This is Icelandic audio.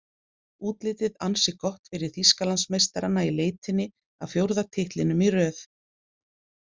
Útlitið ansi gott fyrir Þýskalandsmeistarana í leitinni að fjórða titlinum í röð.